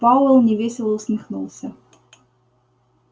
пауэлл невесело усмехнулся